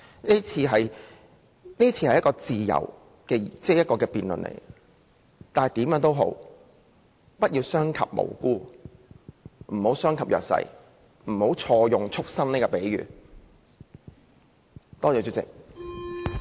這是一場自由的辯論，但無論如何，我希望各位建制派同事不要傷及無辜及弱勢人士，不要錯用"畜牲"的比喻。